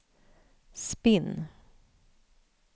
spinn